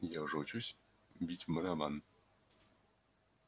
я уже учусь бить в барабан